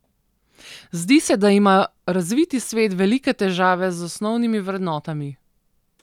Zdi se, da ima razviti svet velike težave z osnovnimi vrednotami.